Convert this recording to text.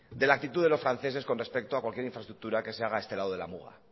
de la actitud de los franceses con respecto a cualquier infraestructura que se haga este lado de la muga